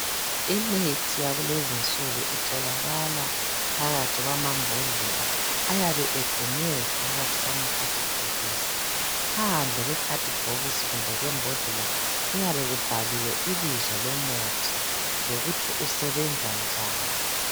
Imithi yakulezi insuku itholakala phakathi kwamambhodlela ayabe egcinwe phakathi kwamakhadibhokisi .Phandle kwekhadibhokisi kumbe kwembodlela kuyabe kubhaliwe ibizo lomuthi lokuthi usebenza njani.